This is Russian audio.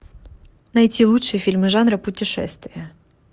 найти лучшие фильмы жанра путешествие